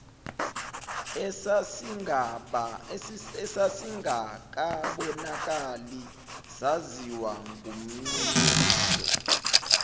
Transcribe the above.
esasingakabonakali saziwa ngumniniso